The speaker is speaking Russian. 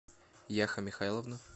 яха михайловна